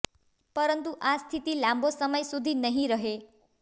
પરંતુ આ સ્થિતિ લાંબો સમય સુધી નહીં રહે